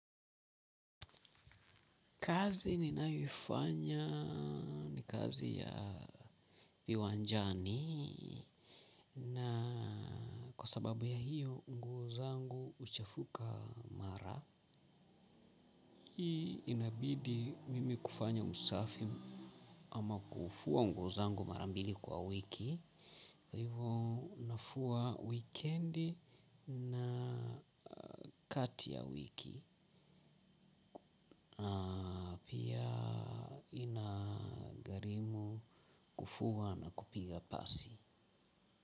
Kazi ninayoifanya ni kazi ya viwanjani na kwa sababu ya hiyo nguo zangu huchafuka mara. Hii inabidi mimi kufanya usafi ama kufua nguo zangu mara mbili kwa wiki. Hivo unafua weekend na kati ya wiki. Pia inagharimu kufua na kupiga pasi.